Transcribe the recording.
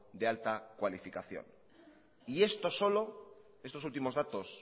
de alta cualificación y esto solo estos últimos datos